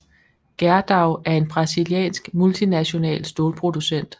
Gerdau er en brasiliansk multinational stålproducent